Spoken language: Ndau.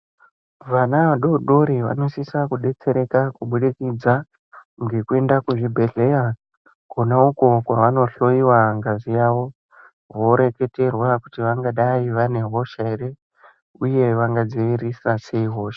Vana vadodori vanosisa kudetsereka kubudikidza ngekuenda kuzvibhedhleya, Kona uko anohloiwa ngazi yavo koeketerwa kuti vangadai vane hosha ere, uye vangadziirisa sei hosha